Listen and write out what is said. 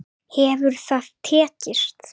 Hefur það tekist?